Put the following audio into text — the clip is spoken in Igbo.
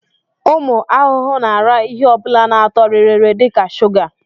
Ụmụ ahụhụ na-ara ihe ọ bụla ná-atọ rịrị dịka shuga.